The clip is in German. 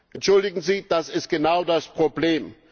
Entschuldigen Sie, das ist genau das Problem.